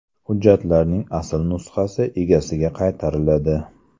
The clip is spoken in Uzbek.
Hujjatning asl nusxasi egasiga qaytariladi.